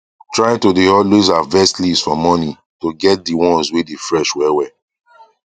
try to dae always harvest leaves for morning to get the ones wae fresh well well